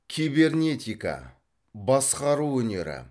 кибернетика басқару өнері